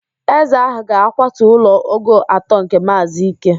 Eze ahụ ga-akwatu ụlọ ogo atọ nke Maazị Ike